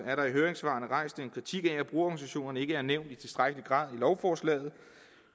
er der i høringssvarene rejst en kritik af at brugerorganisationerne ikke er nævnt i tilstrækkelig grad i lovforslaget